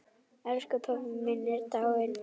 Elsku pabbi minn er dáinn!